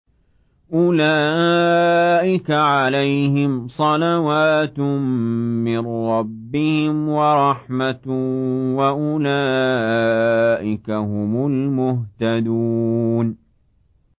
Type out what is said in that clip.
أُولَٰئِكَ عَلَيْهِمْ صَلَوَاتٌ مِّن رَّبِّهِمْ وَرَحْمَةٌ ۖ وَأُولَٰئِكَ هُمُ الْمُهْتَدُونَ